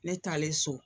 Ne taalen so